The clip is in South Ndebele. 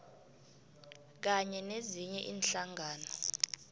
kanye nezinye iinhlangano